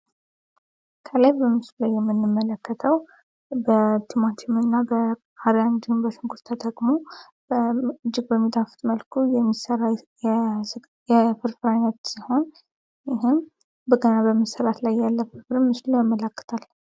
ከላይ በምስሉ የምንመለከተው በቲማቲም ፣ቃሪያ ፣እንዲሁም በሽንኩርት ተጠቅሞ እጅግ በሚጣፍት መልኩ የሚሰራ የፍርፍር አይነት ሲሆን ይህም ገና በመሰራት ላይ ያለ ፍርፍር ምስሉ ያመላክታል።